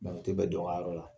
Mɛ u tɛ bɛ dɔnyɔrɔ yɔrɔ la